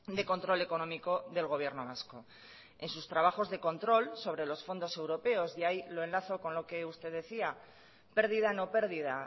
de control económico del gobierno vasco en sus trabajos de control sobre los fondos europeos y ahí lo enlazo con lo que usted decía pérdida no pérdida